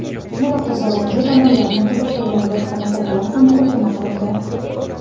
Muloqot davomida tomonlarni qiziqtirgan boshqa masalalar ham muhokama qilindi.